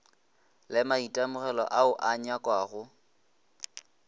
le maitemogelo ao a nyakwago